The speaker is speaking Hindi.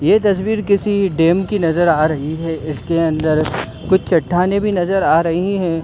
ये तस्वीर किसी डेम की नजर आ रही है इसके अंदर कुछ चट्टानें भी नजर आ रही है।